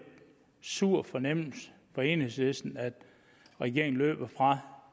sur fornemmelse for enhedslisten at regeringen løber fra